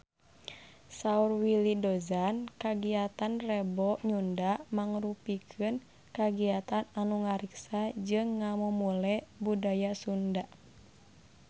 Saur Willy Dozan kagiatan Rebo Nyunda mangrupikeun kagiatan anu ngariksa jeung ngamumule budaya Sunda